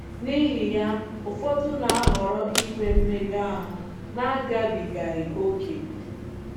N’ihi ya, ụfọdụ na-ahọrọ inwe mmega ahụ na-agabigaghị oke.